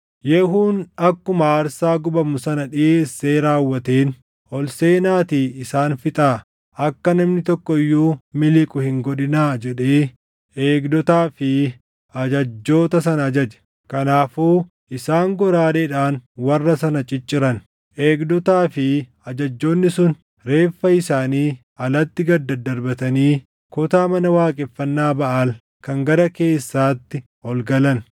Yehuun akkuma aarsaa gubamu sana dhiʼeessee raawwateen, “Ol seenaatii isaan fixaa; akka namni tokko iyyuu miliqu hin godhinaa” jedhee eegdotaa fi ajajjoota sana ajaje. Kanaafuu isaan goraadeedhaan warra sana cicciran. Eegdotaa fi ajajjoonni sun reeffa isaanii alatti gad dadarbatanii kutaa mana waaqeffannaa Baʼaal kan gara keessaatti ol galan.